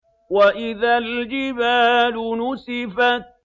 وَإِذَا الْجِبَالُ نُسِفَتْ